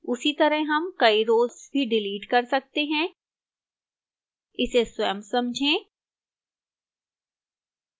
उसी तरह हम कई rows भी डिलीट कर सकते हैं इसे स्वयं समझें